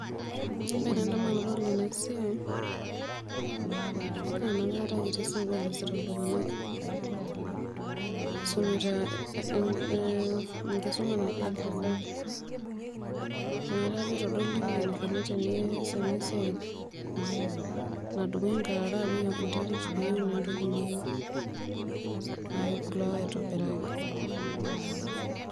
Ore embae nadamu tanadol enasiai naa inakata kitii sukul easita ltunganak isumita enkisuma naji agriculture nakata apa itadolu eniko teneasi enasiai nadumuni nkarara apik enterit peipik entoki niyieu, nakebulu ake aitobiraki.